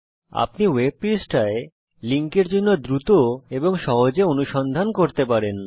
আপনি ওয়েব পৃষ্ঠায় লিঙ্কের জন্য দ্রুত এবং সহজে অনুসন্ধান করতে পারেন